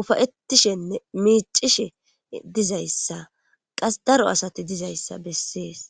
ufa'etishene mic'ishe dizaysa qas daro asati dizaysa bases.